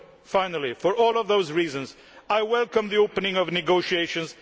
Finally, for all of those reasons, I welcome the opening of negotiations.